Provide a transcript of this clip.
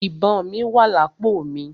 Ìbọn mí wà lápò mi.